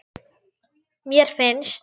Mér finnst.